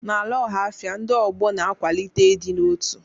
N'ala Ọhafia, ndị ọgbọ na-akwalite ịdị n'otu.